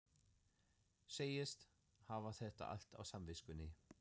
Segist hafa þetta allt á samviskunni.